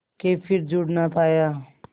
के फिर जुड़ ना पाया